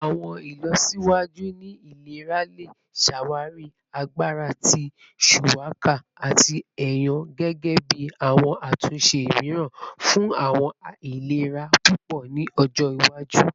Awọn ilọsiwaju ni ilera le ṣawari agbara ti shuwaka ati ayan gẹgẹbi awọn atunṣe miiran fun awọn ailera pupọ ni ojo iwaju.